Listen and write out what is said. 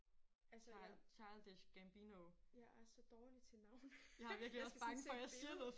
Altså jeg jeg er så dårlig til navne. Jeg skal sådan se et billede